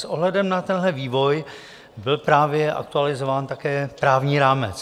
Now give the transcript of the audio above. S ohledem na tenhle vývoj byl právě aktualizován také právní rámec.